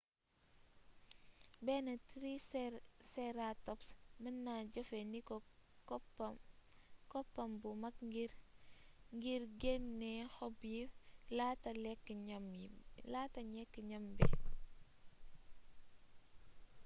benn triceratops meenna jeefee ndiko koppam bu mak ngir genné xob yi laata lékk gnam bi